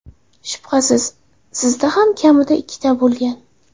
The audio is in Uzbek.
Shubhasiz, sizda ham kamida ikkitasi bo‘lgan.